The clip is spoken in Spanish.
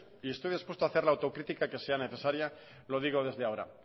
y estoy dispuesto a hacer al autocritica que sea necesaria lo digo desde ahora